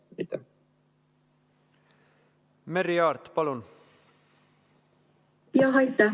Merry Aart, palun!